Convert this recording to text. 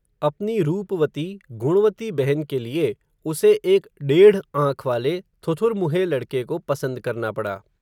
अपनी, रूप वती, गुणवती बहन के लिये, उसे एक डेढ़ आंख वाले, थुथुरमुंहे लड़के को पसन्द करना पड़ा